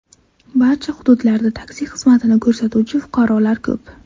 Barcha hududlarda taksi xizmatini ko‘rsatuvchi fuqarolar ko‘p.